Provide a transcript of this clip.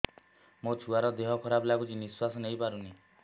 ମୋ ଛୁଆର ଦିହ ଖରାପ ଲାଗୁଚି ନିଃଶ୍ବାସ ନେଇ ପାରୁନି